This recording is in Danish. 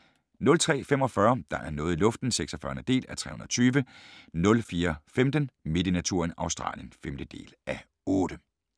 03:45: Der er noget i luften (46:320) 04:15: Midt i naturen – Australien (5:8)